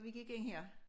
Vi gik ind her